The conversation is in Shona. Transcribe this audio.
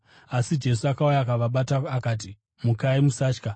Asi Jesu akauya akavabata. Akati, “Mukai. Musatya.”